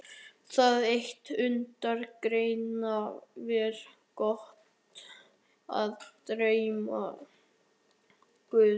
Það eitt mundi greiða mér götu að dyrum guðs.